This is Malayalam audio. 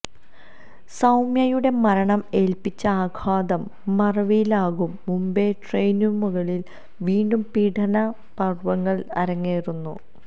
സൌമ്യയുടെ മരണം ഏല്പ്പിച്ച ആഘാതം മറവിയിലാകും മുമ്പേ ട്രെയിനുകളില് വീണ്ടും പീഡന പര്വങ്ങള് അരങ്ങേറുന്നു